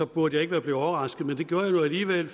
burde jeg ikke være blevet overrasket men det gjorde jeg nu alligevel